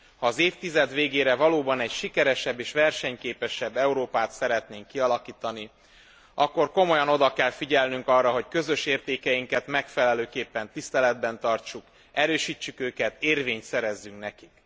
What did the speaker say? Ha az évtized végére valóban egy sikeresebb és versenyképesebb Európát szeretnénk kialakítani, akkor komolyan oda kell figyelnünk arra, hogy közös értékeinket megfelelőképpen tiszteletben tartsuk, erősítsük őket, érvényt szerezzünk neki.